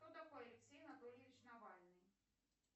кто такой алексей анатольевич навальный